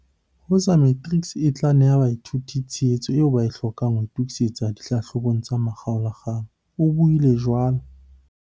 "Woza Matrics e tla neha baithuti tshehetso eo ba e hlokang ho itokisetsa dihlahlobo tsa makgaola-kgang," o buile jwalo.